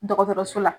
Dɔgɔtɔrɔso la